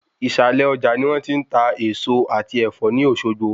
Ìsàlẹ Ọjà ni wón ti n ta Èèso àti Ẹ̀fọ́ ní Òsogbo